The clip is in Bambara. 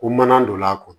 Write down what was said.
Ko mana don a kɔnɔ